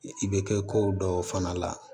I bɛ kɛ ko dɔw fana la